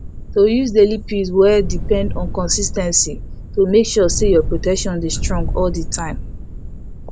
to use daily pills well depend on consis ten cy to make sure say your protection dey strong all the time